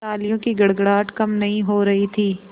तालियों की गड़गड़ाहट कम नहीं हो रही थी